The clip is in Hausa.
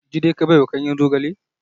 Jide ka baiwa ganyen zogale?